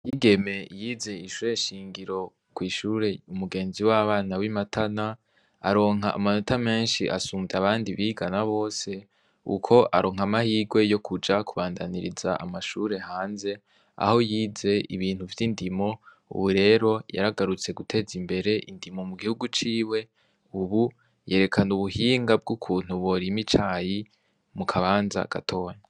Igeme yize ishure shingiro kw'ishure umugenzi w'abana w'imatana , aronka amanota menshi asumvye abandi bigana bose uko aronka amahirwe yo kuja kubandaniriza amashure hanze aho yize ibintu vy'indimo, ubu rero yaragarutse guteza imbere indimo mu gihugu ciwe, ubu yerekana ubuhinga bw'ukuntu borima icayi mukabanza gatonya.